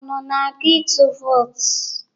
Unu na-aga ịtụ vootu?